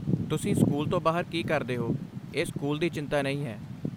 ਤੁਸੀਂ ਸਕੂਲ ਤੋਂ ਬਾਹਰ ਕੀ ਕਰਦੇ ਹੋ, ਇਹ ਸਕੂਲ ਦੀ ਚਿੰਤਾ ਨਹੀਂ ਹੈ।